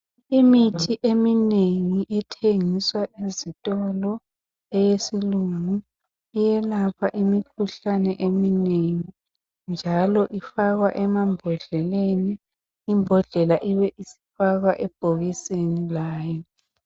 Imithi eminengi ethengiswa ezitolo eyesilungu eyelapha imikhuhlane eminengi njalo ifakwa emambhodleleni imbodlela ibe isifakwa ebhokisini layo.